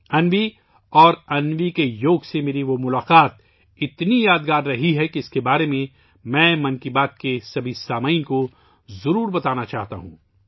انوی اور انوی کے یوگ سے میری ملاقات اتنی یادگار رہی کہ میں اس کے بارے میں ' من کی بات ' کے سبھی سامعین کو ضرور بتانا چاہتا ہوں